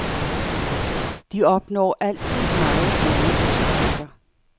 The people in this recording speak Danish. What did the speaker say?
De opnår altid meget gode resultater.